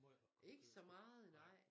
Ikke så meget nej